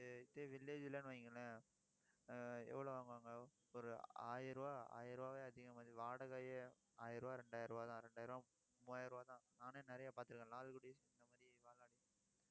இதே~ இதே village இல்லைன்னு வையுங்களேன் ஆஹ் எவ்வளவு வாங்குவாங்க ஒரு ஆயிரம் ரூபாய் ஆயிரம் ரூபாய் அதிகமா மாதிரி வாடகையே ஆயிரம் ரூபாய் இரண்டாயிரம் ரூபாய்தான். இரண்டாயிரம் மூவாயிரம் ரூபாய்தான். நானே நிறைய பார்த்திருக்கேன். லால்குடி village city இந்த மாதிரி